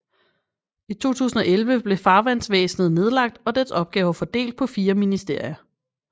I 2011 blev Farvandsvæsenet nedlagt og dets opgaver fordelt på fire ministerier